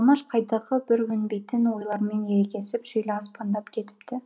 қалмаш қайдағы бір өнбейтін ойлармен ерегесіп шилі аспандап кетіпті